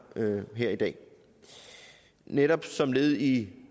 her i dag netop som led i